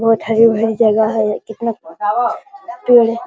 बहुत हरी-भरी जगह है ये कितना पेड़ --